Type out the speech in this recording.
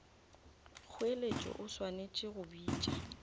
kgoeletšo o swanetše go bitša